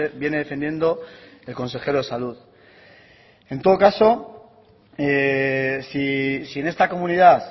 viene defendiendo el consejero de salud en todo caso si en esta comunidad